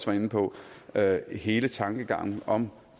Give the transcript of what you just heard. var inde på være hele tankegangen om